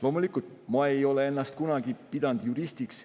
Loomulikult, ma ei ole ennast kunagi pidanud juristiks.